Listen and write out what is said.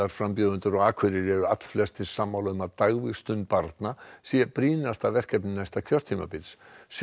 frambjóðendur á Akureyri eru allflestir sammála um að dagvistun barna sé brýnasta verkefni næsta kjörtímabils sjö